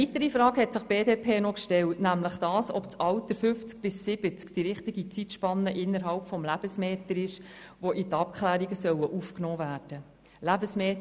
Eine weitere Frage hat sich die BDP noch gestellt, nämlich ob das Alter 50 bis 70 Jahre die richtige Zeitspanne innerhalb des «Lebensmeters» ist, welche in die Abklärung aufgenommen werden soll.